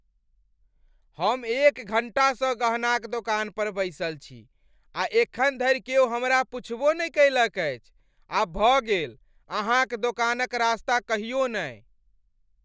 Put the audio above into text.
हम एक घंटासँ गहना क दोकान पर बैसल छी आ एखन धरि क्यौ हमरा पुछबो नहि कयलक अछि, आब भ गेल अहाँ क दोकान क रास्ता कहियो ने ।